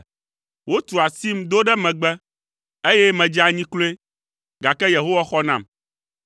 Wotu asim do ɖe megbe, eye medze anyi kloe, gake Yehowa xɔ nam.